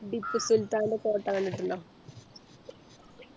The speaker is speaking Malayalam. ടിപ്പു സുൽത്താൻെറ കോട്ട കണ്ടിട്ടുണ്ടോ